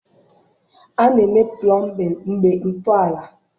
A na-eme plọmbịn mgbe ntọala